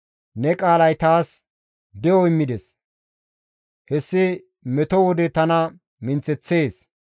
Ne qaalay taas de7o immides; hessi meto wode tana minththeththees.